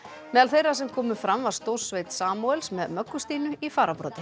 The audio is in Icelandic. meðal þeirra sem komu fram var stórsveit Samúels með Möggu Stínu í fararbroddi